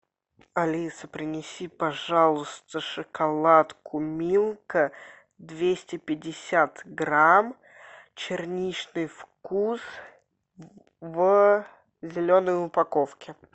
алиса принеси пожалуйста шоколадку милка двести пятьдесят грамм черничный вкус в зеленой упаковке